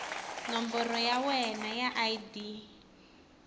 nomboro ya wena ya id